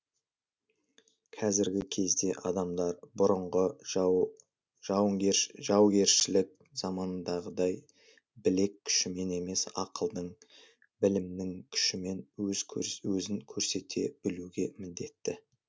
кәзіргі кезде адамдар бұрынғы жаугершілік замандағыдай білек күшімен емес ақылдың білімнің күшімен өзін көрсете білуге міндетті